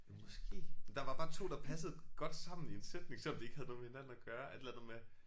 Jo måske. Der var bare 2 der passede godt sammen i en sætning selvom de ikke havde noget med hinanden at gøre. Et eller andet med